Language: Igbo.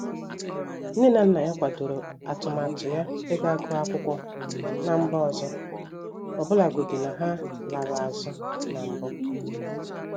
Nne na nna ya kwadoro atụmatụ ya iga guọ akwụkwọ na mba ọzọ, ọbụlagodi na ha larụ azụ na mbụ.